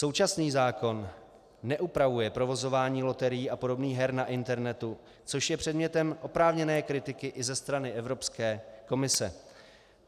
Současný zákon neupravuje provozování loterií a podobných her na internetu, což je předmětem oprávněné kritiky i ze strany Evropské komise.